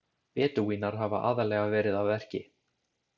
Bedúínar hafa aðallega verið að verki.